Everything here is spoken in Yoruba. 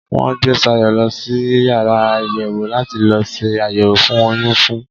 Wọ́n gbé Sayọ̀ lọ sí yàrá àyẹ̀wò láti lọ se àyẹ̀wò oyún fún un.